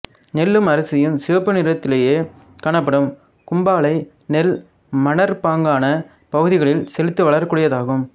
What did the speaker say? நெல்லும் அரிசியும் சிவப்பு நிறத்திலேயே காணப்படும் கூம்பாளை நெல் மணற்பாங்கான பகுதிகளில் செழித்து வளரக்கூடியதாகும்